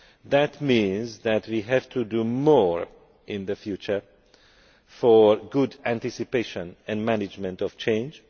That means that we have to do more in the future for good anticipation and management of change.